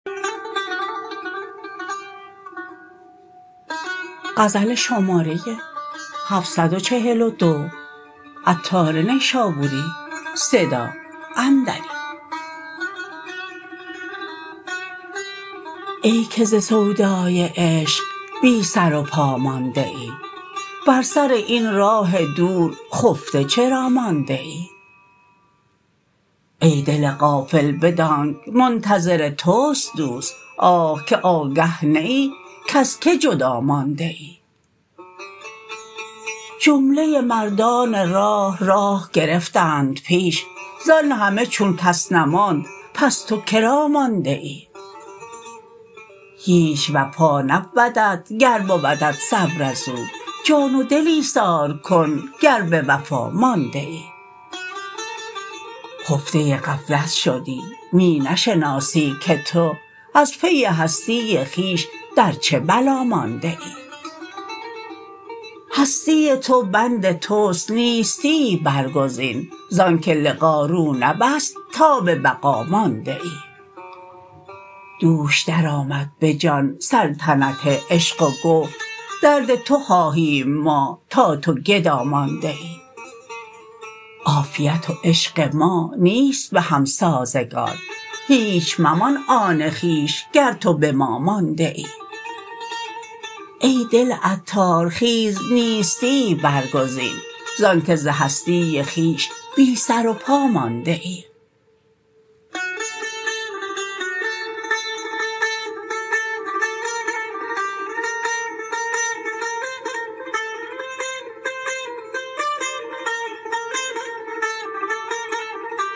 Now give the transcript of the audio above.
ای که ز سودای عشق بی سر و پا مانده ای بر سر این راه دور خفته چرا مانده ای ای دل غافل بدانک منتظر توست دوست آه که آگه نه ای کز که جدا مانده ای جمله مردان راه راه گرفتند پیش زان همه چون کس نماند پس تو که را مانده ای هیچ وفا نبودت گر بودت صبر ازو جان و دل ایثار کن گر به وفا مانده ای خفته غفلت شدی می نشناسی که تو از پی هستی خویش در چه بلا مانده ای هستی تو بند توس نیستیی برگزین زانکه لقا رو نبست تا به بقا مانده ای دوش درآمد به جان سلطنت عشق و گفت درد تو خواهیم ما تا تو گدا مانده ای عافیت و عشق ما نیست بهم سازگار هیچ ممان آن خویش گر تو به ما مانده ای ای دل عطار خیز نیستیی برگزین زانکه ز هستی خویش بی سر و پا مانده ای